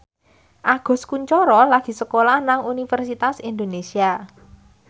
Agus Kuncoro lagi sekolah nang Universitas Indonesia